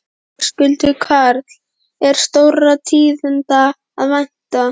Höskuldur Kári: Er stórra tíðinda að vænta?